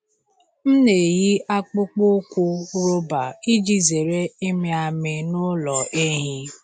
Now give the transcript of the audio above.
M na-eyi akpụkpọ ụkwụ rọba iji zere ịmị amị n’ụlọ ehi.